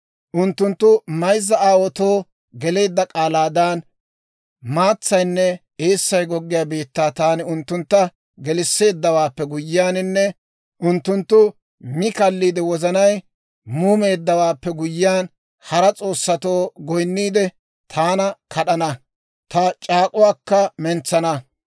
Unttunttu mayzza aawaatoo geleedda k'aalaadan, maatsaynne eessay goggiyaa biittaa taani unttuntta gelisseeddawaappe guyyiyaaninne unttunttu mi kaalliide, wozanay muumeeddawaappe guyyiyaan, hara s'oossatoo goyinniide, taana kad'ana; ta c'aak'k'uwaakka mentsana.